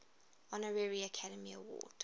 honorary academy award